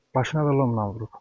Başına da lomnan vurub.